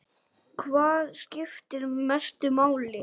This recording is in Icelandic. Hvað skiptir mestu máli?